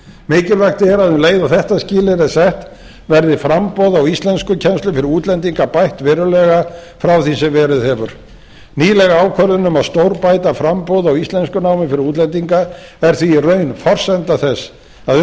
mikilvægt er að um leið og þetta skilyrði er sett verði framboð á íslenskukennslu fyrir útlendinga bætt verulega frá því sem verið hefur nýleg ákvörðun um að stórbæta framboð á íslenskunámi fyrir útlendinga er því í raun forsenda þess að